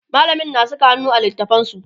mallamin na Saka hannu a littatafansu